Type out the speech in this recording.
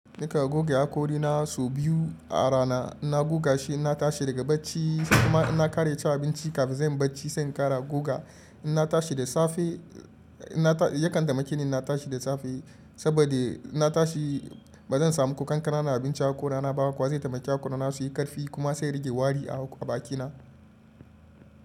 Nika goga haƙori na sau biyu a rana, ina goga shi ina tashi daga bacci sai kuma inna kara ci abinci kafin zan yi bacci sai in kara goga. Yakan taimake ni na tashi da safe saboda inna tashi ba zan samu ko kananan abinci haƙori na ba kuwa zai taimake haƙori na su yi ƙarfi kuma sai rigewa wari a bakina.